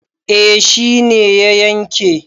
eh shi ne ya yanke